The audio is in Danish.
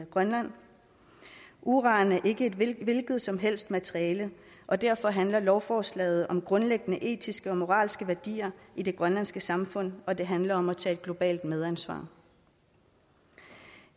grønland uran er ikke et hvilket som helst materiale og derfor handler lovforslaget om grundlæggende etiske og moralske værdier i det grønlandske samfund og det handler om at tage et globalt medansvar